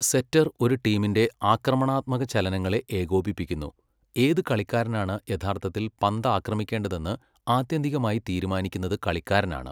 സെറ്റർ ഒരു ടീമിന്റെ ആക്രമണാത്മക ചലനങ്ങളെ ഏകോപിപ്പിക്കുന്നു, ഏത് കളിക്കാരനാണ് യഥാർത്ഥത്തിൽ പന്ത് ആക്രമിക്കേണ്ടതെന്ന് ആത്യന്തികമായി തീരുമാനിക്കുന്നതു കളിക്കാരനാണ്.